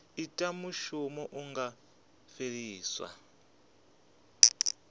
ita mushumo hu nga fheliswa